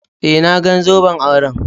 Eh, na gan zoben auren.